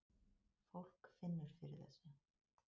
Fólk finnur fyrir þessu